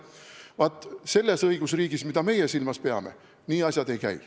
Vaat selles õigusriigis, mida meie silmas peame, asjad nii ei käi.